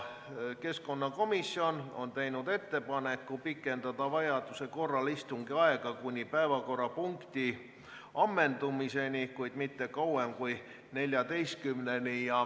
Keskkonnakomisjon on teinud ettepaneku pikendada vajaduse korral istungi aega kuni päevakorrapunkti ammendumiseni, kuid mitte kauem kui kella 14-ni.